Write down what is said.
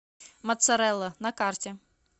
моцарелла на карте